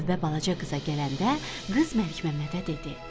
Növbə balaca qıza gələndə qız Məlikməmmədə dedi: